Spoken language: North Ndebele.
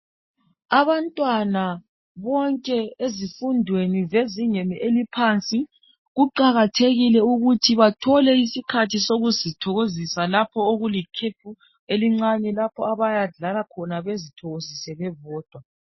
Abantwana bonke bezifundweni zezingeni eliphansi kuqakathekile ukuthi bathole isikhathi sokuzithokozisa lapho okulikhefu elincane lapho abayadlala khona bezithokozisa bebodwa.